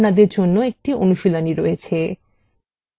এখন আপনাদের জন্য একটি অনুশীলনী রয়েছে